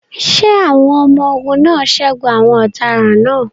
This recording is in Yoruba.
Ṣé àwọn ọmọ-ogun náà ṣẹ́gun àwọn ọ̀daràn náà?